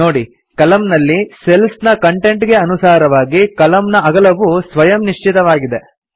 ನೋಡಿ ಕಲಮ್ ನಲ್ಲಿ ಸೆಲ್ಸ್ ನ ಕಂಟೆಂಟ್ ಗೆ ಅನುಸಾರವಾಗಿ ಕಲಮ್ ನ ಅಗಲವು ಸ್ವಯಂ ನಿಶ್ಚಯವಾಗಿದೆ